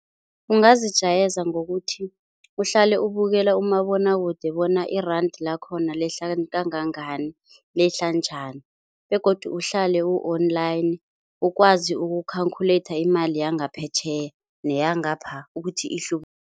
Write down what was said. Ungazijayeza ngokuthi uhlale ukubukela umabinwakude bona i-rand lakhona lehla kangangani, lehla njani begodu uhlale u-online, ukwazi uku-calculater imali yangaphetjheya neyangapha